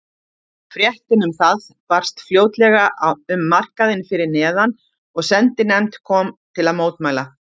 Fréttin um það barst fljótlega um markaðinn fyrir neðan og sendinefnd kom til að mótmæla.